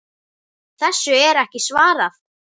Þessu er ekki svarað.